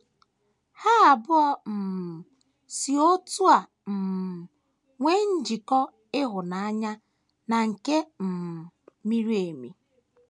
Ha abụọ um si otú a um nwee njikọ ịhụnanya na nke um miri emi.